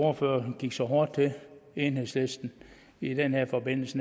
ordfører gik så hårdt til enhedslisten i den her forbindelse